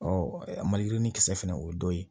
a maliyirini kisɛ fana o ye dɔ ye